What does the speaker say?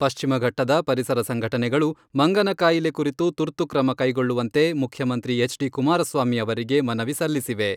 ಪಶ್ಚಿಮಘಟ್ಟದ ಪರಿಸರ ಸಂಘಟನೆಗಳು ಮಂಗನ ಕಾಯಿಲೆ ಕುರಿತು ತುರ್ತು ಕ್ರಮ ಕೈಗೊಳ್ಳುವಂತೆ ಮುಖ್ಯಮಂತ್ರಿ ಎಚ್.ಡಿ.ಕುಮಾರಸ್ವಾಮಿ ಅವರಿಗೆ ಮನವಿ ಸಲ್ಲಿಸಿವೆ.